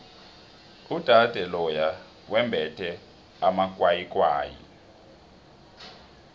udade loya wembethe amakwayikwayi